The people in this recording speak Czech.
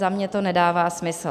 Za mě to nedává smysl.